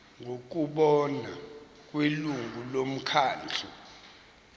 ngokubona kwelungu lomkhandlu